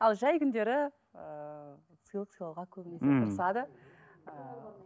ал жай күндері ыыы сыйлық сыйлауға көбінесе ммм тырысады ыыы